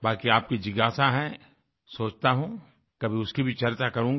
बाकी आपकी जिज्ञासा है सोचता हूँ कभी उसकी भी चर्चा करूँगा